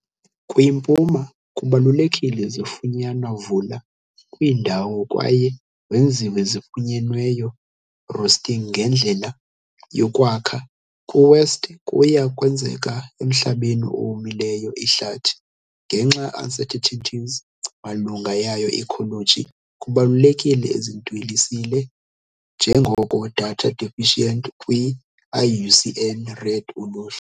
Kwimpuma, kubalulekile zifunyanwa vula kwiindawo kwaye wenziwe zifunyenweyo roosting ngendlela yokwakha, kwi-west kuya kwenzeka emhlabeni owomileyo ihlathi. Ngenxa uncertainties malunga yayo ecology, kubalulekile ezidweliswe njengoko "Data Deficient" kwi - IUCN Red Uluhlu.